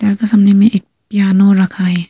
एका सामने में एक पियानो रखा है।